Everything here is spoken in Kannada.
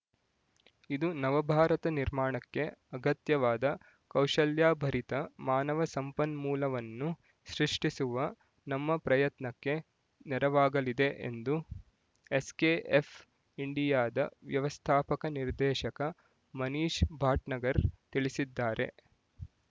ಇದು ನವಭಾರತ ನಿರ್ಮಾಣಕ್ಕೆ ಅಗತ್ಯವಾದ ಕೌಶಲ್ಯಾಭರಿತ ಮಾನವ ಸಂಪನ್ಮೂಲವನ್ನು ಸೃಷ್ಟಿಸುವ ನಮ್ಮ ಪ್ರಯತ್ನಕ್ಕೆ ನೆರವಾಗಲಿದೆ ಎಂದು ಎಸ್ಕೆಎಫ್ ಇಂಡಿಯಾದ ವ್ಯವಸ್ಥಾಪಕ ನಿರ್ದೇಶಕ ಮನೀಶ್ ಭಟ್ನಾಗರ್ ತಿಳಿಸಿದ್ದಾರೆ